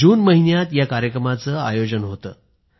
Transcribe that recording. जून महिन्यात या कार्यक्रमाचं आयोजन केलं होतं